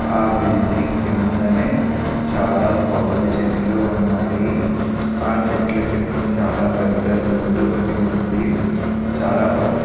ఆ బిల్డింగ్ కిందనే చాలా కొబ్బరి చెట్లు ఉన్నాయి. ఆ చెట్ల కిందన చాలా పెద్ధ రోడ్డు ఒకటి ఉంది. చాలా బాగుంది.